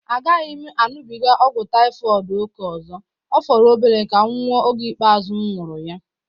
A gaghị m aṅụbiga ọgwụ Taifọd ókè ọzọ, ọ fọrọ obere ka m nwụọ oge ikpeazụ m nwara ya